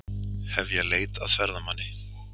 Hefja leit að ferðamanni